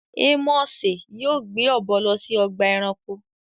Ámọsẹ yóò gbé ọ̀bọ̀ lọ sí ọ̀gbà ẹ̀ránkò